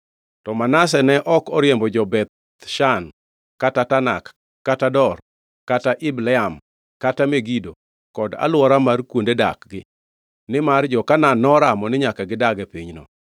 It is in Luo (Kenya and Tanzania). To Manase ne ok oriembo jo-Beth Shan kata Tanak kata Dor kata Ibleam kata Megido kod alwora mar kuonde dak-gi, nimar jo-Kanaan noramo ni nyaka gidag e pinyno.